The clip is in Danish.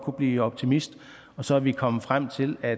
blive optimist og så er vi kommet frem til at